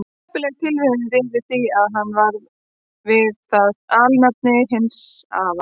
heppileg tilviljun réði því að hann varð við það alnafni hins afa síns